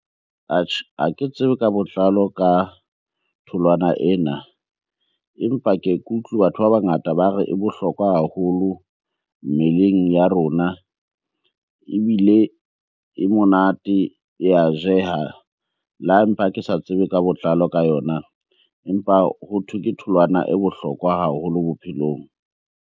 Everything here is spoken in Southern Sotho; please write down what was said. Atjhe, ha ke tsebe ka botlalo ka tholwana ena, empa ke ye ke utlwi batho ba bangata ba re e bohlokwa haholo mmeleng ya rona. Ebile e monate, e ya jeha. Le ha empa ke sa tsebe ka botlalo ka yona, empa hothwe ke tholwana e bohlokwa haholo bophelong.